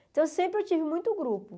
Então, sempre eu tive muito grupo.